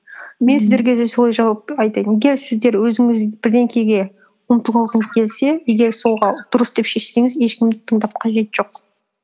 мен сіздерге де солай жауап айтайын егер сіздер өзіңіз бірдеңеге ұмтылғыңыз келсе егер дұрыс деп шешсеңіз ешкімді тыңдап қажеті жоқ